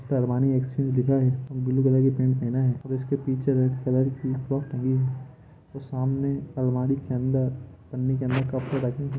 Armani exchange लिखा है blue colour की पेंट पहना है इसके पीछे रेड कलर की फ्राक टंगी है सामने अलमारी के अंदर पन्नी के अंदर कपड़े रखे है।